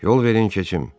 Yol verin keçim.